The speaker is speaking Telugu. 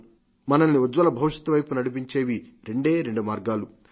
మనల్ని ఉజ్వల భవిష్యత్ వైపు నడిపించేవి రెండే రెండు మార్గాలు